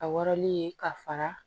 A wɔrɔnlen ka fara